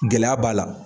Gɛlɛya b'a la